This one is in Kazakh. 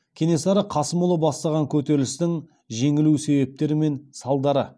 кенесары қасымұлы бастаған көтерілістің жеңілу себептері мен салдары